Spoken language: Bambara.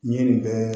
N ye nin bɛɛ